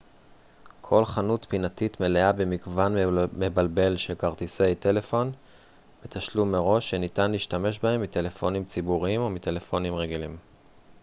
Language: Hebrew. כל חנות פינתית מלאה במגוון מבלבל של כרטיסי טלפון בתשלום מראש שניתן להשתמש בהם מטלפונים ציבוריים או מטלפונים רגילים